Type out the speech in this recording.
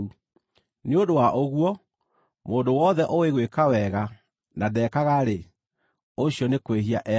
Nĩ ũndũ wa ũguo, mũndũ wothe ũũĩ gwĩka wega na ndekaga-rĩ, ũcio nĩ kwĩhia ehagia.